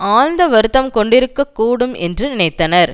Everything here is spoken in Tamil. ஆழ்ந்த வருத்தம் கொண்டிருக்க கூடும் என்று நினைத்தனர்